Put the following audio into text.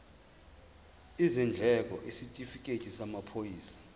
izindleko isitifikedi samaphoyisa